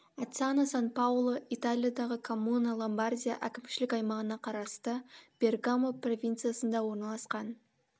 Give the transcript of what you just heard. аццано сан паоло италиядағы коммуна ломбардия әкімшілік аймағына қарасты бергамо провинциясында орналасқан